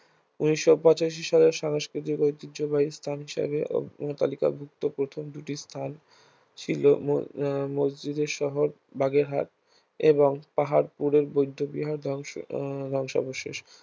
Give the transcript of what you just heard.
ঊনিশ পঁচাশি সালের সংস্কৃতিক ঐতিহ্যবাহী স্থান হিসাবে উম তালিকাভুক্ত প্রথম দুটি স্থান ছিল ম আহ মসজিদের শহর বাগেরহাট এবং পাহাড়পুরের বৌদ্ধবিহার ধ্বংস আহ ধ্বংসাবশেষ